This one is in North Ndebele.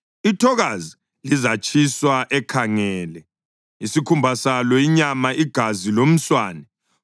Ithokazi lizatshiswa ekhangele, isikhumba salo, inyama, igazi lomswane.